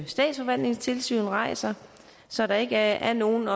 statsforvaltningens tilsyn rejser så der ikke er nogen